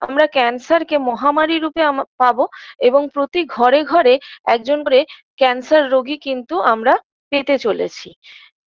আমরা cancer -কে মহামারী রূপে আম পাব এবং প্রতি ঘরে ঘরে একজন করে cancer রোগীকে কিন্তু আমরা পেতে চলেছি